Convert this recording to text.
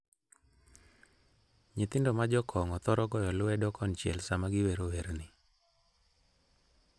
Nyithindo ma Jo-Kongo thoro goyo lwedo konchiel sama giwero werni: